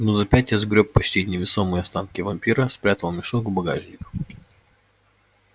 минут за пять я сгрёб почти невесомые останки вампира спрятал мешок в багажник